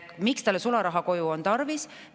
Miks tal on sularaha kodus tarvis?